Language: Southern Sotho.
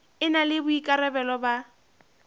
e na le boikarabelo ba